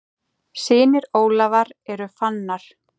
Synir Ólafar eru Fannar.